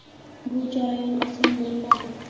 Bu jarayon oson bo‘lmadi.